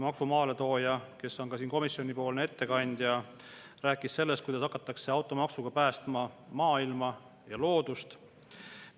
Maksu maaletooja, kes on siin komisjoni ettekandja, rääkis sellest, kuidas automaksuga hakatakse päästma maailma ja loodust.